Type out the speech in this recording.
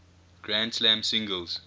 grand slam singles